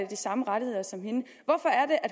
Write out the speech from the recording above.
de samme rettigheder som